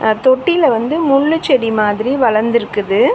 அ தொட்டில வந்து முள்ளு செடி மாதிரி வளந்துருக்குது.